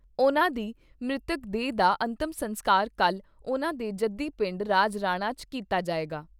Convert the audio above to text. ਉਨ੍ਹਾਂ ਦੀ ਮ੍ਰਿਤਕ ਦੇਹ ਦਾ ਅੰਤਮ ਸੰਸਕਾਰ ਕੱਲ੍ਹ ਉਨ੍ਹਾਂ ਦੇ ਜੱਦੀ ਪਿੰਡ ਰਾਜਰਾਣਾ 'ਚ ਕੀਤਾ ਜਾਏਗਾ।